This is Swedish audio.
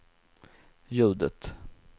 ljudet